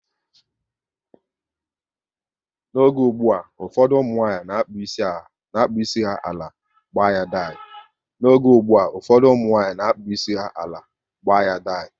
N'oge ụgbụa, ụfọdụ ụmụnwanyị na-akpụ isi ha ala, gbaa ya dai